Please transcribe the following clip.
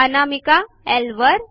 अनामिका ल वर